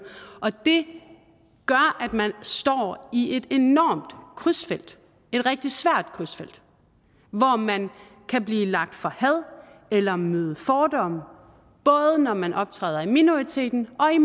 det gør at man står i et enormt krydsfelt at rigtig svært krydsfelt hvor man kan blive lagt for had eller møde fordomme både når man optræder i minoriteten og i